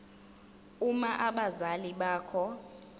uma abazali bakho